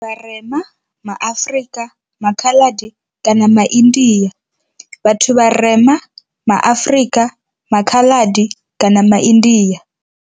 Vharema, ma Afrika, maKhaladi kana maIndia. Vhathu vharema, ma Afrika, maKhaladi kana maIndia.